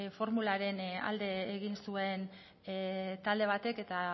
formularen alde egin zuen talde batek eta